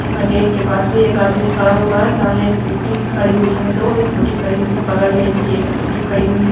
यहाँ गेट के पास भी एक आदमी खड़ा हुआ है सामने स्कूटी खड़ी हुई है दो स्कूटी खड़ी हुई है बगर में भी एक स्कूटी खड़ी हुई है।